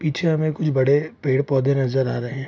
पीछे हमे कुछ बड़े पेड़-पौधे नजर आ रहे है।